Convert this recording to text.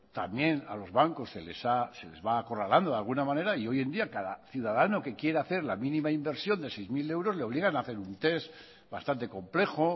también a los bancos se les va acorralando de alguna manera y hoy en día cada ciudadano que quiere hacer la mínima inversión de seis mil euros le obligan a hacer un test bastante complejo